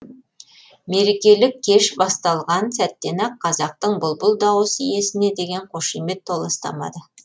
мерекелік кеш басталған сәттен ақ қазақтың бұлбұл дауыс иесіне деген қошемет толастамады